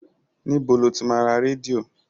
Níbo lo ti máa ra rédíò?